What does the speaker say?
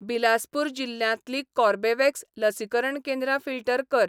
बिलासपूर जिल्ल्यांतलीं कोर्बेवॅक्स लसीकरण केंद्रां फिल्टर कर .